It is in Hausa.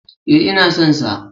E, ina son sa.